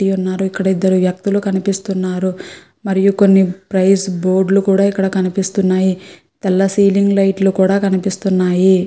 T ఉన్నారు ఇక్కడ ఇద్దరు వ్యక్తులు కనిపిస్తున్నారు మరియు కొన్ని ప్రైస్ బోర్డు లు కూడా ఇక్కడ కనిపిస్తున్నాయి. తెల్ల సీలింగ్ లైట్ లు కూడా కనిపిస్తున్నాయి.